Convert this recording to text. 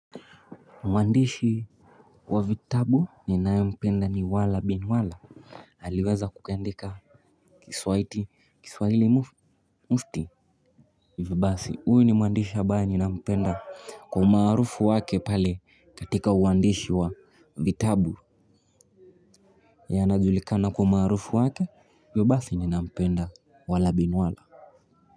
Mwandishi wa vitabu ninaye mpenda ni Walah Bin Walah. Aliweza kukiandika kiswahili kiswahili mufti. Hivyo basi huyu ni mwandishi ambaye nina mpenda kwa umaarufu wake pale katika uandishi wa vitabu. Yeye anajulikana kwa umarufu wake, hivyo basi ninampenda Walah Bin Walah.